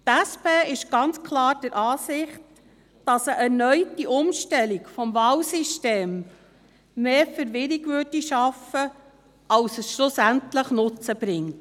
Die SP ist ganz klar der Ansicht, dass eine erneute Umstellung des Wahlsystems mehr Verwirrung schaffen würde, als dass sie letztlich einen Nutzen brächte.